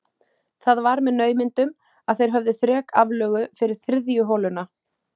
Það var með naumindum að þeir höfðu þrek aflögu fyrir þriðju holuna.